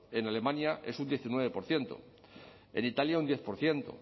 en alemania es un diecinueve por ciento en italia un diez por ciento